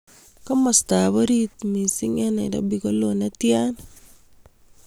Komostap oriit miising' eng' Nairobi ko loo ne tyan